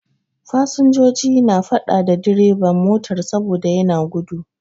Fasinjoji na faɗa da bireban motar saboda yana gudu.